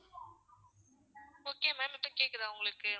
okay ma'am இப்போ கேக்குதா உங்களுக்கு?